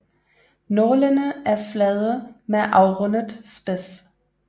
Nålene er flade med afrundet spids